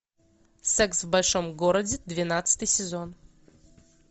секс в большом городе двенадцатый сезон